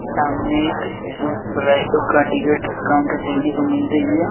सामने एक ticket counter देखने को मिल रही है।